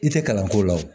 I tɛ kalan ko la o